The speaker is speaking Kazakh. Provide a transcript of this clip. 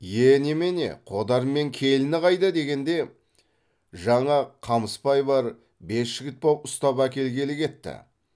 е немене қодар мен келіні қайда дегенде жаңа қамыспай бар бес жігіт боп ұстап әкелгелі кетті